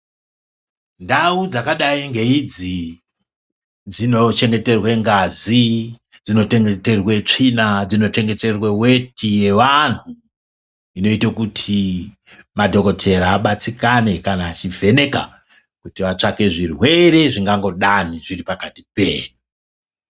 Ndau dzakadai ngeidzi dzinochengeterwe ngazi ,dzinochengeterwe tsvina, dzinochengeterwe mutundo ,wevanhu zvinoite kuti madhokodheya abatsirikane kana achivheneka kuti vatsvake zvirwere zvingangodai zviri pakati pedu.